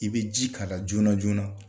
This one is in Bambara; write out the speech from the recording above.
I bɛ ji' k'a la joona joona